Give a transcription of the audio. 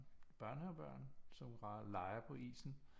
Børnehavebørn som leger på isen